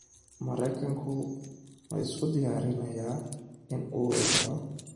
Maraykanku ma isku diyaarinayaa inuu weeraro Iran?